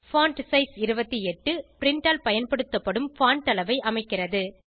font size 28 print ஆல் பயன்படுத்தப்படும் font அளவை அமைக்கிறது